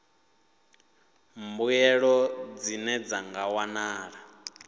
mbuelo dzine dza nga wanala